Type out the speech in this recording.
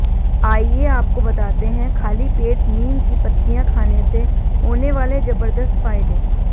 आइए आपको बताते हैं खाली पेट नीम की पत्तियां खाने से होने वाले जबरदस्त फायदे